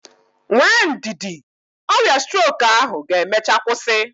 Nwee ndidi, ọrịa strok ahụ ga-emechaa kwụsị.